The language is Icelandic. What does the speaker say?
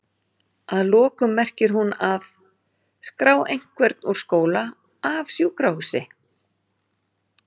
Að lokum merkir hún að?skrá einhvern úr skóla, af sjúkrahúsi?